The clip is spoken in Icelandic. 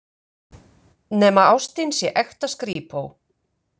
Nema ástin sé ekta skrípó.